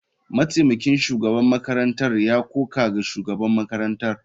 Mataimakin shugaban makarantar ya koka ga shugaban makarantar.